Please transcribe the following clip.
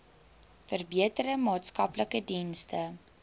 verbeterde maatskaplike dienste